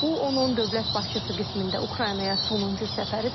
Bu onun dövlət başçısı qismində Ukraynaya sonuncu səfəridir.